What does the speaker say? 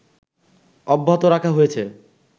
অব্যাহত রাখা হয়েছে